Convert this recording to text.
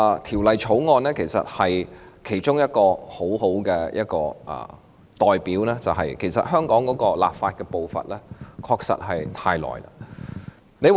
《條例草案》是一個很好的例子，證明香港立法的步伐確實太慢。